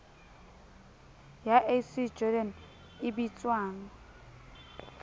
ya ac jordan e bitswang